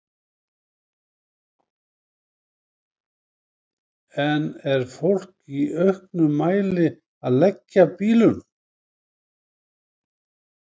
En er fólk í auknum mæli að leggja bílunum?